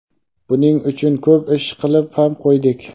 Buning uchun ko‘p ish qilib ham qo‘ydik.